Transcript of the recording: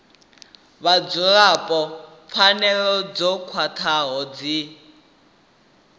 vhadzulapo pfanelo dzo khwathaho dzi